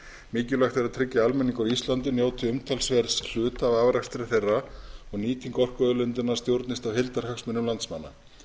mikilvægt er að tryggja að almenningur á íslandi njóti umtalsverðs hluta af afrakstri þeirra og að nýting orkuauðlindanna stjórnist af heildarhagsmunum landsmanna